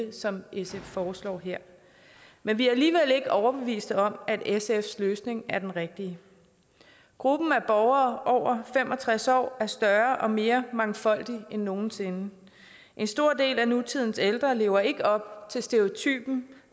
som sf foreslår her men vi er alligevel ikke overbevist om at sfs løsning er den rigtige gruppen af borgere over fem og tres år er større og mere mangfoldig end nogen sinde en stor del af nutidens ældre lever ikke op til stereotypen